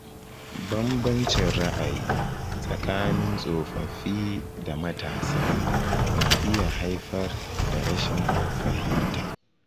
Banbancin ra'ayi tsakanin tsofaffi da matasa na iya haifar da rashin fahimta.